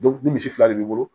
ni misi fila de b'i bolo